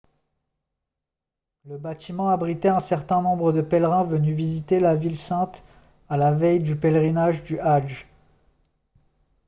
le bâtiment abritait un certain nombre de pèlerins venus visiter la ville sainte à la veille du pèlerinage du hadj